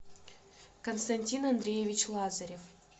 константин андреевич лазарев